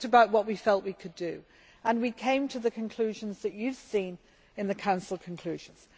We talked about what we felt we could do and we came to the conclusions that you have seen in the Council conclusions.